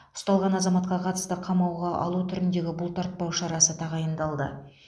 ұсталған азаматқа қатысты қамауға алу түріндегі бұлтартпау шарасы тағайындалды